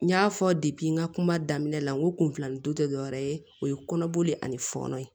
N y'a fɔ n ka kuma daminɛ la n ko kun filanin don tɛ dɔwɛrɛ ye o ye kɔnɔboli ani fɔɔnɔ ye